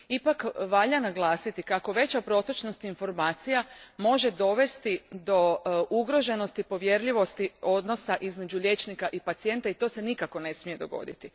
Ipak, valja upozoriti kako veća protočnost informacija može dovesti do ugroženosti povjerljivosti odnosa između liječnika i pacijenta i to se nikako ne smije dogoditi.